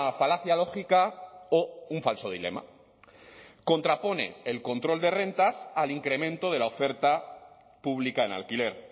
falacia lógica o un falso dilema contrapone el control de rentas al incremento de la oferta pública en alquiler